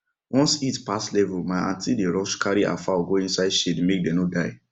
once heat pass level my aunty dey rush carry her fowl go inside shade make dem no die